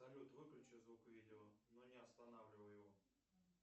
салют выключи звук видео но не останавливай его